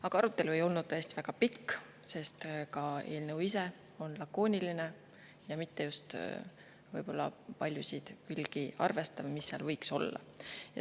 Aga arutelu ei olnud tõesti väga pikk, sest ka eelnõu ise on lakooniline ja mitte just paljusid külgi arvestav, mis seal võiks olla.